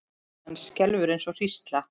Hann skelfur eins og hrísla.